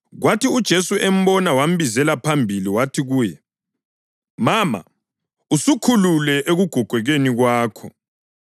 Kwathi uJesu embona wambizela phambili wathi kuye, “Mama, usukhululwe ekugogekeni kwakho.”